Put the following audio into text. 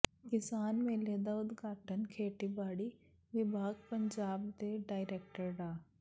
ਕਿਸਾਨ ਮੇਲੇ ਦਾ ਉਦਘਾਟਨ ਖੇਤੀਬਾੜੀ ਵਿਭਾਗ ਪੰਜਾਬ ਦੇ ਡਾਇਰੈਕਟਰ ਡਾ